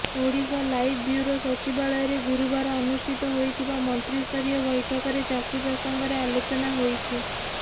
Odisha live bureau ସଚିବାଳୟରେ ଗୁରୁବାର ଅନୁଷ୍ଠିତ ହୋଇଥବା ମନ୍ତ୍ରିସ୍ତରୀୟ ବୈଠକରେ ଚାଷୀ ପ୍ରସଙ୍ଗରେ ଆଲୋଚନା ହୋଇଛି